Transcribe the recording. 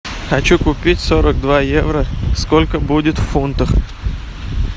хочу купить сорок два евро сколько будет в фунтах